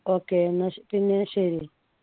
okay എന്നാ പിന്നെ ശരി